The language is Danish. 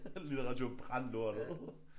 Litteratur? Brænd lortet